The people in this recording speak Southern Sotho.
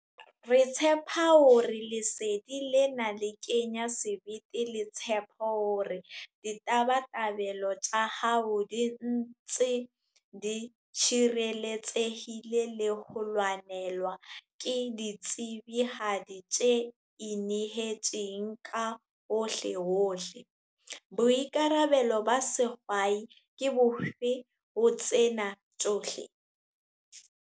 Re tshepa hore lesedi lena le kenya sebete le tshepo hore ditabatabelo tsa hao di ntse di tshireletsehile le ho lwanelwa ke ditsebihadi tse inehetseng ka hohlehohle. Boikarabelo ba sehwai ke bofe ho tsena tsohle?